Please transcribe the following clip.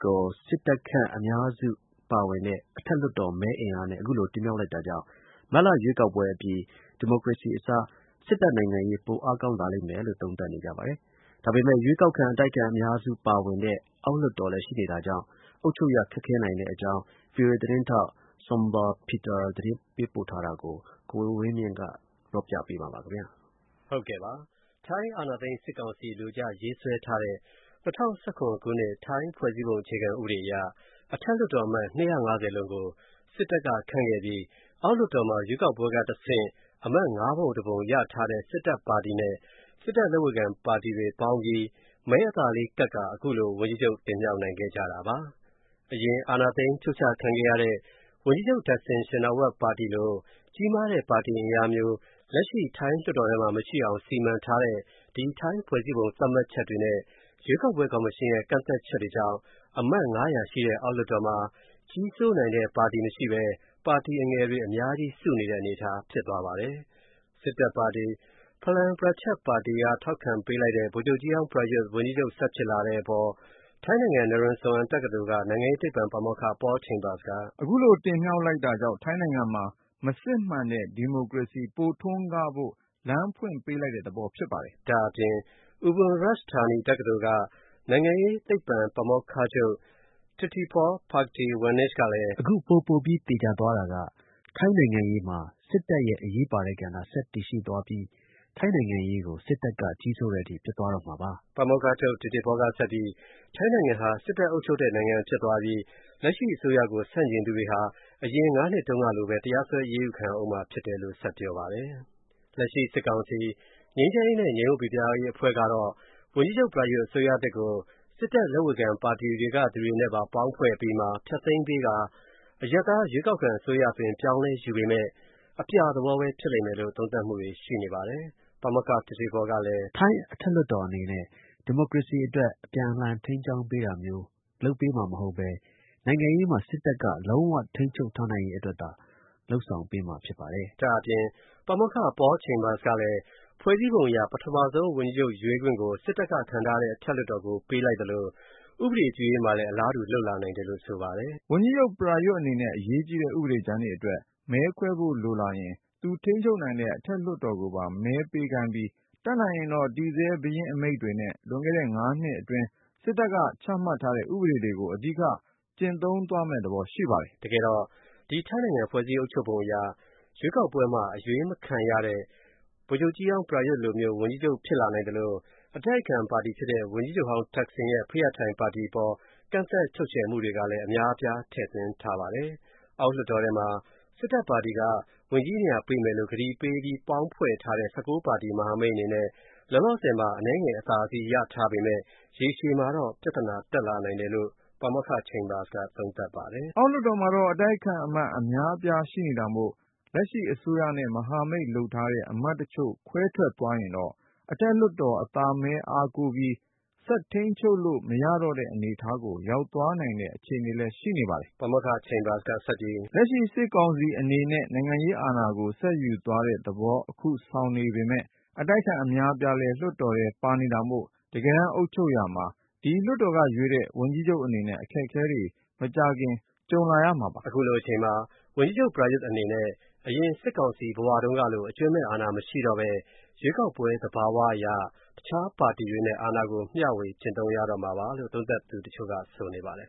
ကို စစ်တပ်ခန့် အမတ်အများစုရှိတဲ့ အထက်လွှတ်တော်မဲ အားနဲ့ ခုလို တင်မြှောက်လိုက်တာကြောင့် မတ်လ ရွေးကောက်ပွဲ အပြီး ဒီမိုကရေစီ အစား စစ်တပ်နိုင်ငံရေး ပိုအားကောင်းလာလိမ့်မယ်လို့ သုံးသပ်နေကြပါတယ်။ ဒါပေမဲ့ ရွေးကောက်ခံ အတိုက်အခံအမတ် အများအပြား ရှိနေတဲ့ အောက်လွှတ်တော်ကြောင့် အုပ်ချုပ်ရ ခက်နိုင်တဲ့အကြောင်းVOA သတင်းထောက် Zsombor Peter သတင်းပိုထားတာကို ကိုဝင်းမင်းက ပြောပြမှာပါ။ ထိုင်းအာဏာသိမ်း စစ်ကောင်စီ အလိုကျ ရေးဆွဲထားတဲ့ ၂၀၁၇ ခုနှစ် ထိုင်းဖွဲ့စည်းပုံ အခြေခံ ဥပဒေ အရ အထက်လွှတ်တော် အမတ် ၂၅၀ လုံးကို စစ်တပ်က ခန့်ခဲ့ပြီး အောက်လွှတ်တော်မှာ ရွေးကောက်ပွဲက တဆင့် အမတ် ၅ ပုံ တပုံ ရထားတဲ့ စစ်တပ် ပါတီနဲ့ စစ်တပ် လက်ဝေခံ ပါတီတွေ ပေါင်းပြီး မဲအသာလေး ကပ်ကာ အခုလို ဝန်ကြီးချုပ် တင်မြှောက်နိုင်ခဲ့ကြတာပါ။ အရင် အာဏာသိမ်း ဖြုတ်ချခံခဲ့ရတဲ့ ဝန်ကြီးချုပ် သက်ဆင် ရှင်နာဝပ် ပါတီလို ကြီးမားတဲ့ ပါတီ အင်အားမျိုး လက်ရှိ ထိုင်းလွှတ်တော်ထဲမှာ မရှိအောင် စီမံ ထားတဲ့ ဒီ ထိုင်းဖွဲ့စည်းပုံ သတ်မှတ်ချက်တွေနဲ့ ရွေးကောက်ပွဲ ကော်မရှင်ရဲ့ ကန့်သတ်ချက်တွေကြောင့် အမတ် ၅၀၀ ရှိတဲ့ အောက်လွှတ်တော်မှာ ကြီးစိုးနိုင်တဲ့ ပါတီ မရှိဘဲ ပါတီ အငယ်တွေ အများကြီး စုနေတဲ့ အနေအထား ဖြစ်သွားပါတယ်။ စစ်တပ် ပါတီ Palang Pracharath ပါတီက ထောက်ခံပေးလိုက်တဲ့ ဗိုလ်ချုပ်ကြီးဟောင်း Prayuth ဝန်ကြီးချုပ် ဆက်ဖြစ်လာတဲ့ အပေါ် ထိုင်းနိုင်ငံ Naresuan တက္ကသိုလ်က နိုင်ငံရေး သိပ္ဗံ ပါမောက္ခ Paul Chambers က “ခုလို တင်မြှောက်လိုက်တာကြောင့် ထိုင်းနိုင်ငံမှာ မစစ်မှန်တဲ့ ဒီမိုကရေစီ ပိုထွန်းကားဖို့ လမ်းဖွင့်ပေးလိုက်တဲ့ သဘောဖြစ်ပါတယ်။” ဒါ့အပြင် Ubon Ratchathani တက္ကသိုလ်က နိုင်ငံရေး သိပ္ဗံ ပါမောက္ခချုပ် Titipol Phakdeewanich ကလည်း... “အခု ပို ပိုပြီးသေချာသွားတာကထိုင်းနိုင်ငံရေးမှာ စစ်တပ်ရဲ့ အရေးပါတဲ့ ကဏ္ဍ ဆက်တည်ရှိသွားပြီးထိုင်းနိုင်ငံရေးကို စစ်တပ်က ကြီးစိုးတဲ့ အထိ ဖြစ်သွားတော့မှာပါ။” ပါမောက္ခချုပ် Titipol ကဆက်ပြီး ထိုင်းနိုင်ငံဟာ စစ်တပ် အုပ်ချုပ်တဲ့ နိုင်ငံ ဖြစ်သွားပြီး လက်ရှိ အစိုးရကို ဆန့်ကျင်သူတွေဟာ အရင် ၅ နှစ်တုန်းကလိုဘဲ တရားစွဲ အရေးယူ ခံရဦးမှာ ဖြစ်တယ်လို့ ဆက်ပြောပါတယ်။ လက်ရှိ စစ်ကောင်စီ ငြိမ်းချမ်းရေးနဲ့ ငြိမ်ဝပ်ပိပြားရေး အဖွဲ့ကတော့ ဝန်ကြီးချုပ် Prayuth အစိုးရသစ်ကို စစ်တပ် လက်ဝေခံ ပါတီတွေက လူတွေနဲ့ပါ ပေါင်း ဖွဲ့အပြီးမှာ ဖျက်သိမ်းပေးကာ အရပ်သား ရွေးကောက်ခံ အစိုးရ အသွင်ပြောင်းလဲ ယူပေမယ့် ရုပ်ပြ သဘောဘဲ ဖြစ်လိမ့်မယ်လို့ သုံးသပ်မှုတွေ ရှိနေပါတယ်။ ပါမောက္ခ Titipol ကလည်း “ ထိုင်း အထက်လွှတ်တော် အနေနဲ့ ဒီမိုကရေစီ အတွက် အပြန်အလှန် ထိန်းကျောင်းပေးတာမျိုး လုပ်ပေးမှာ မဟုတ်ဘဲနိုင်ငံရေးမှာ စစ်တပ်က လုံးဝ ထိန်းချုပ်ထားနိုင်ရေး အတွက်သာ လုပ်ဆောင်ပေးမှာ ဖြစ်ပါတယ်။” ဒါ့အပြင် ပါမောက္ခ Paul Chambers ကလည်း ဖွဲ့စည်းပုံ အရ ပထမဆုံး ဝန်ကြီးချုပ် ရွေးခွင့်ကို စစ်တပ်က ခန့်ထားတဲ့ အထက်လွှတ်တော်ကို ပေးလိုက်သလို ဥပဒေ ပြုရေးမှာလည်း အလားတူ လုပ်လာနိုင်တယ်လို့ ဆိုပါတယ်။ “ ဝန်ကြီးချုပ် Prayuth အနေနဲ့ အရေးကြီးတဲ့ ဥပဒေကြမ်းတွေအတွက် မဲခွဲဖို့လိုလာရင် သူထိန်းချုပ်နိုင်တဲ့ အထက်လွှတ်တော်ကိုပါ မဲပေးခိုင်းပြီး တတ်နိုင်ရင်တော့ တည်ဆဲ ဘုရင့်အမိန့်တွေနဲ့ လွန်ခဲ့တဲ့ (၅) နှစ်အတွင်း စစ်တပ်က ချမှတ်ထားတဲ့ ဥပဒေတွေကို အဓိက ကျင့်သုံးသွားမယ့် သဘော ရှိပါတယ်။” တကယ်တော့ ဒီ ထိုင်းနိုင်ငံ ဖွဲ့စည်းအုပ်ချုပ်ပုံ အရ ရွေးကောက်ပွဲမှာ အရွေးမခံရတဲ့ ဗိုလ်ချုပ်ကြီးဟောင်း Prayuth လိုမျိုး ဝန်ကြီးချုပ် ဖြစ်လာနိုင်သလို အတိုက်အခံပါတီ ဖြစ်တဲ့ ဝန်ကြီးချုပ်ဟောင်း သက်ဆင်ရဲ့ Pheu Thai ပါတီ အပေါ် ကန့်သတ် ချုပ်ချယ်မှုတွေ ကလည်း အများအပြား ထည့်သွင်းထားပါတယ်။ အောက်လွှတ်တော်ထဲမှာ စစ်တပ် ပါတီက ဝန်ကြီးနေရာ ပေးမယ်လို့ ကတိပေးပြီး ပေါင်းဖွဲ့ထားတဲ့ ၁၉ ပါတီ မဟာမိတ် အနေနဲ့ လောလောဆယ်မှာ အနည်းငယ် အသာစီး ရထားပေမယ့် ရေရှည်မှာတော့ ပြသနာ တက်လာနိုင်တယ်လို့ ပါမောက္ခ Chambers က သုံးသပ်ပါတယ်။ “ အောက်လွှတ်တော်မှာတော့ အတိုက်အခံအမတ် အများအပြားရှိနေတာမို၊့လက်ရှိအစိုးရနဲ့ မဟာမိတ်လုပ်ထားတဲ့ အမတ်တချို့ခွဲထွက်သွားရင်တော့ အထက်လွှတ်တော် အသာမဲ အားကိုးပြီးဆက်ထိန်းချုပ်လို့ မရတော့တဲ့ အနေအထားကို ရောက်သွားနိုင်တဲ့ အခြေအနေလည်း ရှိနေပါတယ်။” ပါမောက္ခ Chambers က ဆက်ပြီး.. “ လက်ရှိစစ်ကောင်စီအနေနဲ့ နိုင်ငံရေးအာဏာကို ဆက်ယူသွားတဲ့ သဘော အခု ဆောင်နေပေမယ့် အတိုက်အခံအများအပြားလဲ လွှတ်တော်ထဲပါနေတာမို့တကယ်တမ်း အုပ်ချုပ်ရာမှာ ဒီလွှတ်တော်က ရွေးတဲ့ ဝန်ကြီးချုပ် အနေနဲ့အခက်အခဲတွေ မကြာခင်ကြုံလာရမှာပါ။” အခုလို အချိန်မှာ ဝန်ကြီးချုပ် Prayuth အနေနဲ့ အရင် စစ်ကောင်စီ ဘဝတုန်းကလို အကြွင်းမဲ့ အာဏာ မရှိတော့ဘဲ ရွေးကောက်ပွဲ သဘာ၀ အရ တခြားပါတီတွေနဲ့ အာဏာကို မ ျှဝေကျင့်သုံးရတော့မှာပါလို့ သုံးသပ်သူ တချို့က ဆိုနေပါတယ်